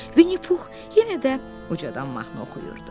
Vinnipux yenə də ucadan mahnı oxuyurdu.